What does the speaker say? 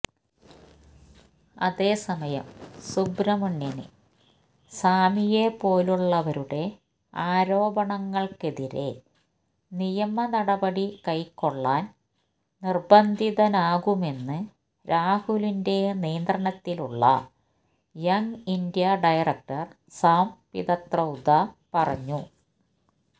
അതേസമയം സുബ്രഹ്മണ്യന് സ്വാമിയെ പോലുള്ളവരുടെ ആരോപണങ്ങള്ക്കെതിരെ നിയമനടപടി കൈക്കൊള്ളാന് നിര്ബന്ധിതനാകുമെന്ന് രാഹുലിന്റെ നിയന്ത്രണത്തിലുള്ള യംഗ്ഇന്ത്യ ഡയറക്ടര് സാംപ്രിത്രൌദ പറഞ്ഞു